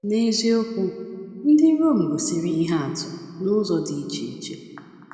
N’eziokwu, ndị Rom gosiri ihe atụ n’ụzọ dị iche iche.